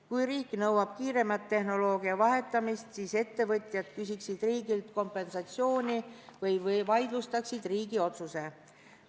Kui riik nõuab kiiremat tehnoloogia väljavahetamist, siis küsiksid ettevõtjad riigilt kompensatsiooni või vaidlustaksid riigi otsuse.